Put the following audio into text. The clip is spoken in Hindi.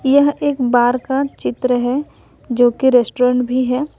यह एक बार का चित्र है जोकि रेस्टुरेंट भी है।